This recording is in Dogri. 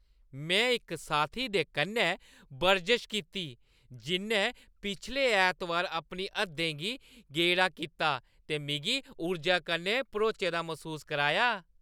में इक साथी दे कन्नै बरजश कीती जि'न्नै पिछले ऐतबार अपनी हद्दें गी गेडा कीता ते मिगी ऊर्जा कन्नै भरोचे दा मसूस कराया।